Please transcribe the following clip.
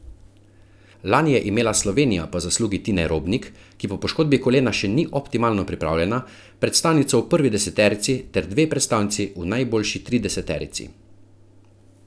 Lani je imela Slovenija po zaslugi Tine Robnik, ki po poškodbi kolena še ni optimalno pripravljena, predstavnico v prvi deseterici ter dve predstavnici v najboljši trideseterici.